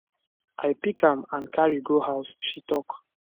i pick am and carry go house she tok